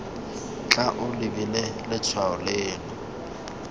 tla o lebile letshwao leno